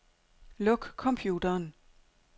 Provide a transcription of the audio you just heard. Luk computeren.